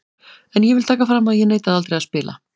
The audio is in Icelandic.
En ég vil taka fram að ég neitaði aldrei að spila.